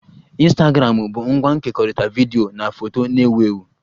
Ịnstagramụ bu ngwa nkekọrịta vidiyo na foto na-ewu ewu